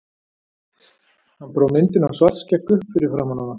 Hann brá myndinni af Svartskegg upp fyrir framan hana.